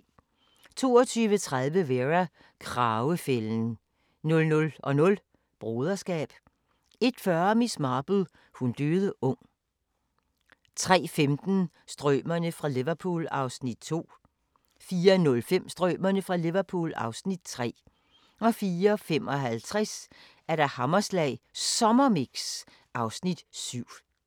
22:30: Vera: Kragefælden 00:00: Broderskab 01:40: Miss Marple: Hun døde ung 03:15: Strømerne fra Liverpool (Afs. 2) 04:05: Strømerne fra Liverpool (Afs. 3) 04:55: Hammerslag Sommermix (Afs. 7)